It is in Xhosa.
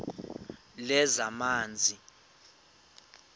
lezamanzi